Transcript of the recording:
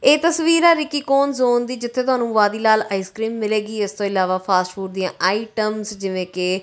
ਏਹ ਤਸਵੀਰ ਆ ਰਿੱਕੀ ਕੋਨ ਜ਼ੋਨ ਦੀ ਜਿੱਥੇ ਤੁਹਾਨੂੰ ਵਾਦੀਲਾਲ ਆਈਸ ਕ੍ਰੀਮ ਮਿਲੇਗੀ ਇਸਤੋਂ ਇਲਾਵਾ ਫਾਸਟਫੂਡ ਦਿਆਂ ਆਈਟਮਸ ਜਿਵੇਂ ਕੇ--